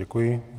Děkuji.